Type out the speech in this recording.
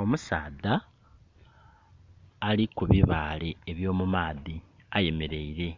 Omusaadha ali ku bibaale ebyo mu maadhi eyemeleire